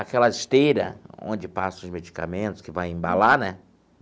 Aquela esteira onde passa os medicamentos, que vai embalar, né?